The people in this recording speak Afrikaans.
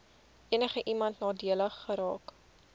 enigiemand nadelig geraak